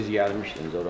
Siz gəlmişdiniz ora.